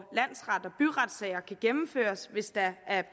byretssager kan gennemføres hvis der er